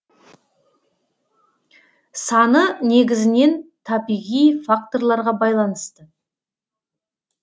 саны негізінен табиғи факторларға байланысты